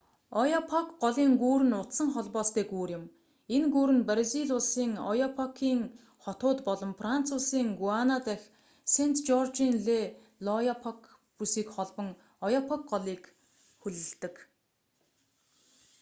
ояапок голын гүүр нь утсан холбоостой гүүр юм энэ гүүр нь бразил улсын ояапокын хотууд болон франц улсын гуана дах сэнт жоржын дэ л'ояапок бүсийг холбон ояапок голыг хөллөдөг